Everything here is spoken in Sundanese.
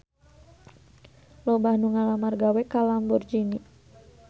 Loba anu ngalamar gawe ka Lamborghini